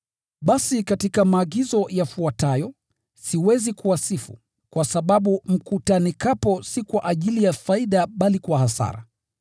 Basi katika maagizo yafuatayo, siwezi kuwasifu, kwa sababu mkutanikapo si kwa ajili ya faida bali kwa hasara.